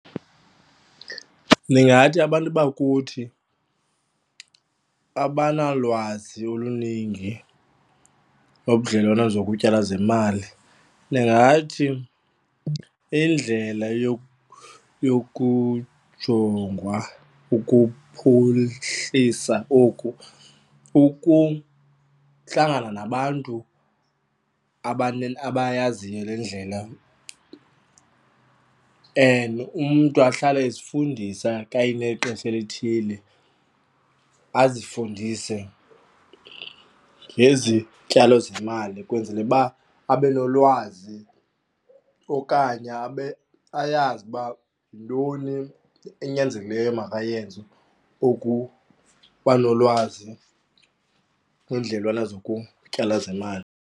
Ndingathi abantu bakuthi abanalwazi oluningi nobudlelwane zokutyala zemali. Ndingathi indlela yokujongwa ukuphuhlisa oku ukuhlangana nabantu abayaziyo le ndlela and umntu ahlale ezifundisa xa enexesha elithile azifundise ngezityalo zemali ukwenzele uba abe nolwazi okanye abe ayazi uba yintoni enyanzelekileyo makayenze ukubanolwazi kwendlelana zokutyala zemali.